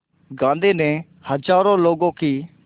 गांधी ने हज़ारों लोगों की